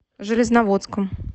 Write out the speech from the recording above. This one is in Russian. железноводском